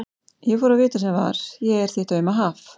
Ég fór að vita sem var: ég er þitt auma haf.